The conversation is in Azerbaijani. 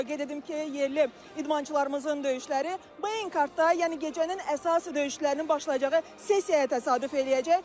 Onu da qeyd edim ki, yerli idmançılarımızın döyüşləri Beyn kartda, yəni gecənin əsas döyüşlərinin başlayacağı sessiyaya təsadüf eləyəcək.